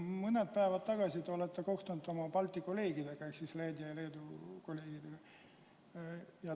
Mõned päevad tagasi te kohtusite oma Balti kolleegidega ehk Läti ja Leedu kolleegiga.